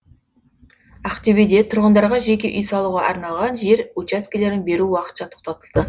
ақтөбеде тұрғындарға жеке үй салуға арналған жер учаскелерін беру уақытша тоқтатылды